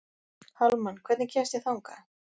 Hallmann, hvernig kemst ég þangað?